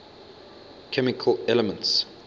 chemical elements